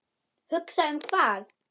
Hugsa um hvað?